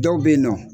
Dɔw bɛ yen nɔ